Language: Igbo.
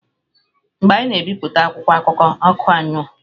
Mgbe anyị na-ebipụta akwụkwọ akụkọ, ọkụ anyuo.